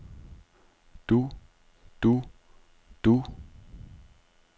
du du du